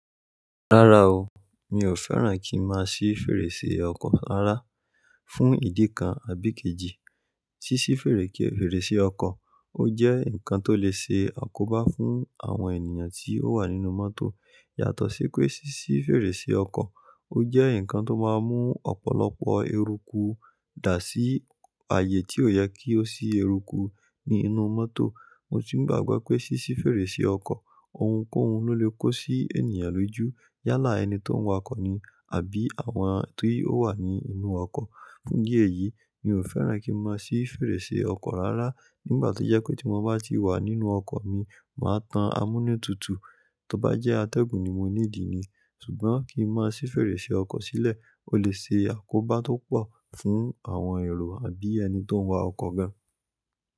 Rárá o, mi ò fẹ́ràn kí n máa sí fèrèsé ọkọ̀ rárá fún ìdí kan àbí ikejì. Sísí fèrèsé ọkọ̀, ó jẹ́ nǹkan tó lè ṣe àkóbá fún àwọn ènìyàn tí ó wà nínú mọ́tò. Yàtọ̀ sí pé sísí fèrèsé ọkọ̀, ó jẹ́ nǹkan tó máa ń mú ọ̀pọ̀lọpọ̀ eruku dà sí ààyè tí ò yẹ kí ó sí eruku ní inú mọ́tò. Mo sì ń gbàgbọ́ pé sísí fèrèsé ọkọ̀ ohunkóhun ló lè kó sí ènìyàn lójú yálà ẹni tí ó ń wa ọkọ̀ ni àbí àwọn tí ó wà ní inú ọkọ̀. Fún idí ẹ̀yìí, mi ò fẹ́ràn kí n máa sí fèrèsé ọkọ̀ rárá nígbà to jẹ́ pé tí mo bá ti wà nínú ọkọ̀ mi, màá tan amúnútutù, tóbá jẹ́ atẹ́gùn ni mo need ni. Ṣùgbọ́n kí n má sì fèrèsé ọkọ̀ sílẹ̀, ó lè ṣe àkóbá tó pọ̀ fún àwọn èrò àbí ẹni tí ó ń wa ọkọ̀ gan.